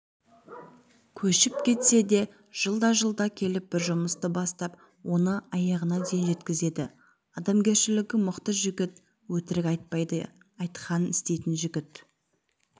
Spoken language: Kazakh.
көшіп кетсе де жылда-жылда келіп бір жұмысты бастап оны аяғына дейін жеткізеді адамгершілігі мықты жігіт өтірік айтпайды айтқанын істейтін жігіт